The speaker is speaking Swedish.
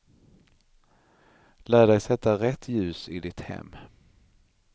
Lär dig sätta rätt ljus i ditt hem.